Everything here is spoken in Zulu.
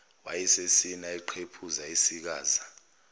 wayesesina eqephuza esikaza